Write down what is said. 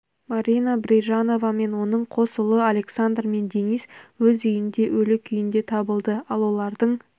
марина брижанова мен оның қос ұлы александр мен денис өз үйінде өлі күйінде табылды ал олардың